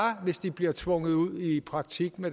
hvis de bliver tvunget ud i praktik